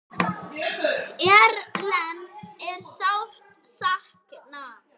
Erlends er sárt saknað.